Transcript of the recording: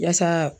Yasa